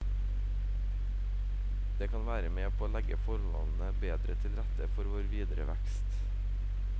Det kan være med på å legge forholdene bedre til rette for vår videre vekst.